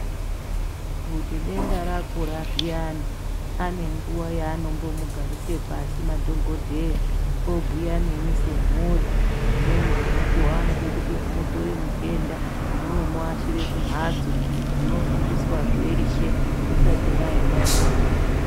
Kuti denda rakura zviyani panenguwa yanombomugarise pasi madhokodheya obhuya nemwi semhuri dzimweni dzemukuwo vanode kuti mutore mutenda munomuashire kumhatso, munofundiswa zveshe musati mwaenda naye.